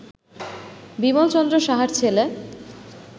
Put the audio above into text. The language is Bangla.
বিমল চন্দ্র সাহার ছেলে